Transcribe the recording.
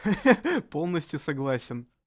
хе-хе полностью согласен